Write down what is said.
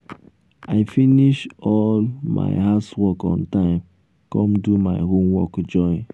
i finish all um my house work on time come do my homework join.